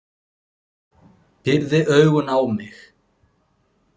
Pírði augun á mig.